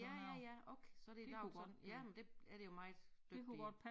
Ja ja ja okay så det der sådan ja men er det jo meget dygtige